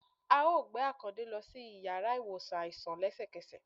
à ọ gbe Akańde lo si ìyára iwosàn aisan lẹsẹkẹsẹ